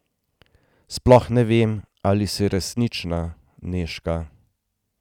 Sploh ne vem, ali si resnična, Nežka.